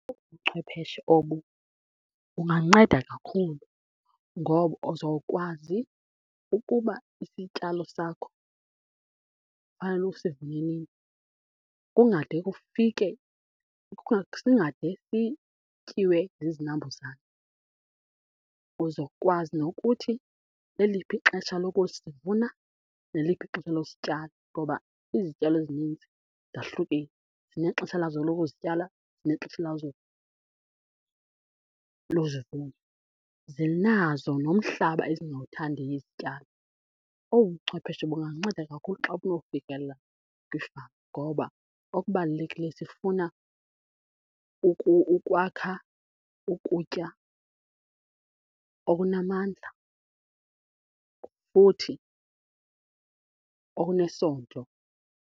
Obu buchwepheshe obu kunganceda kakhulu ngoba uzokwazi ukuba isityalo sakho fanele esivune nini kungade kufike, singade sityiwe zizinambuzane. Uzokwazi nokuthi leliphi ixesha lokusivuna neliphi ixesha losityala ngoba izityalo ezininzi zahlukile, zinexesha lazo lokuzityala zinexesha lazo lozivuna. Zinazo nomhlaba ezingawuthandiyo izityalo. Obu buchwepheshe bunganceda kakhulu xa banokufikelela kwiifama ngoba okubalulekileyo sifuna ukwakha ukutya okunamandla futhi okunesondlo.